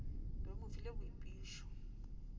be o mo file boipušo